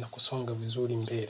na kusonga vizuri mbele.